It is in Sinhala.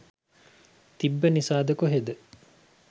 තිබ්බ නිසාද කොහෙද